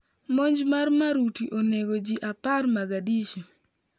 Monj mar maruti onego ji apar Mogadishu